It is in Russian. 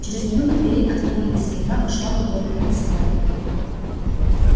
через минуту двери отворились и она вошла в уборную государыни